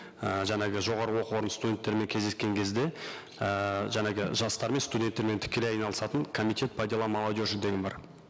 і жаңағы жоғарғы оқу орны студенттерімен кездескен кезде ііі жаңағы жастармен студенттермен тікелей айналысатын комитет по делам молодежи деген бар